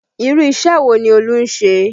Irú isẹ wo ni Olú ń ṣe?